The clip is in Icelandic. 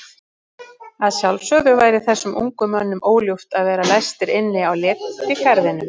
Að sjálfsögðu væri þessum ungu mönnum óljúft að vera læstir inni á letigarðinum.